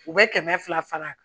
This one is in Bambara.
U bɛ kɛmɛ fila fara